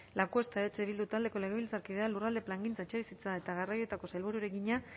lacuesta eh bildu taldearen legebiltzarkidea lurralde plangintza etxebizitza eta garraioetako sailburuari egina